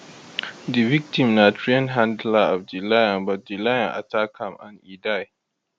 di victim na trained handler of di lion but di lion attack am and e die